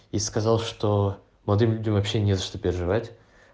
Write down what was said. и сказал что молодым людям вообще не за что переживать